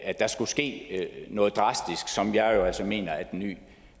at der skal ske noget drastisk som jeg jo altså mener at den nye